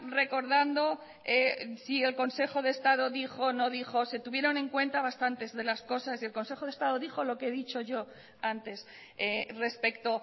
recordando si el consejo de estado dijo o no dijo se tuvieron en cuenta bastantes de las cosas y el consejo de estado dijo lo que he dicho yo antes respecto